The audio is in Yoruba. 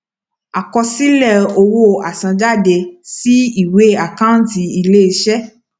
kọ àkọsílẹ owó àsanjáde sí ìwé àkántì iléiṣẹ